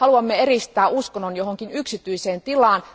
Haluamme eristää uskonnon johonkin yksityiseen tilaan.